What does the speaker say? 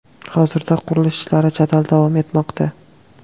Hozirda qurilish ishlari jadal davom etmoqda.